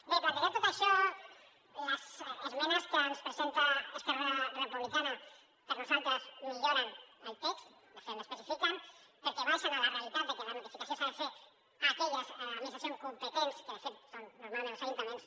bé plantejat tot això les esmenes que ens presenta esquerra republicana per nosaltres milloren el text de fet l’especifiquen perquè baixen a la realitat de que la notificació s’ha de fer a aquelles administracions competents que de fet són normalment els ajuntaments